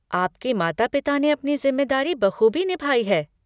आपके माता पिता ने अपनी जिम्मेदारी बखूबी निभाई है।